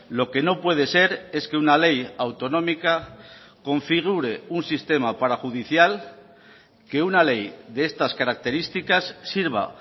lo que no puede ser es que una ley autonómica configure un sistema parajudicial que una ley de estas características sirva